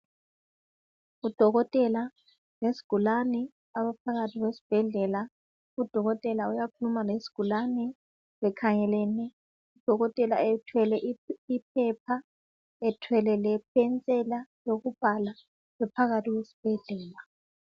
Udokotela wesigulani abaphakathi kwesibhedlela. Udokotela uyakhuluma lesigulani bekhangelene . Udokotela ethwele iphepha, ethwele lepensela yokubhala , bephakathi kwesibhedlela.